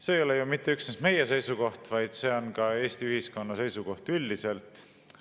See ei ole mitte üksnes meie seisukoht, vaid see on ka Eesti ühiskonna seisukoht üldiselt.